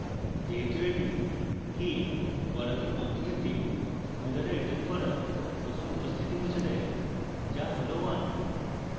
যেহেতু এটি k বর্গাকার বন্ধনীতে two দ্বারা রিটার্ন করা প্রথম উপস্থিতি মুছে দেয় যা হল one